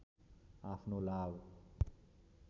आफ्नो लाभ